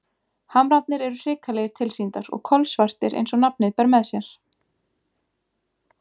Hamrarnir eru hrikalegir tilsýndar og kolsvartir eins og nafnið ber með sér.